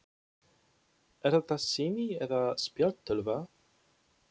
Er þetta sími eða spjaldtölva?